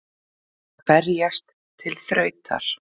Að berjast til þrautar